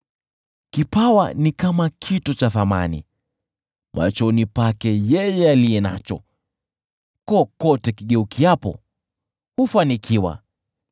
Kipawa ni kama kito cha thamani machoni pake yeye aliye nacho; kokote kigeukiapo, hufanikiwa.